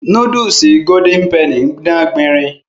Núdúùsù golden penny ń dán gbinrin